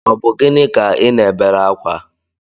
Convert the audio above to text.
Ọ bu gịnị ka I ná-ebere akwa?